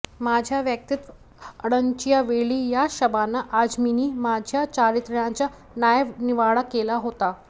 माझ्या वैयक्तिक अडचणींच्या वेळी याच शबाना आझमींनी माझ्या चारित्र्याचा न्यायनिवाडा केला होता